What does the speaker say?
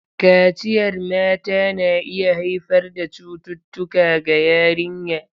Kaciyar mata na iya haifar da cututtuka ga yarinya.